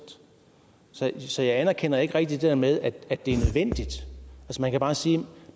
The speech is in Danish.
så jeg anerkender ikke rigtig det her med at det er nødvendigt man kan bare sige